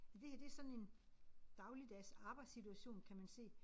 Ja det her det sådan en dagligdags arbejdssituation kan man se